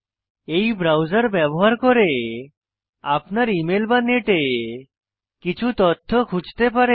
এই ব্রাউজার ব্যবহার করে আপনার ইমেল বা নেটে কিছু তথ্য খুঁজতে পারেন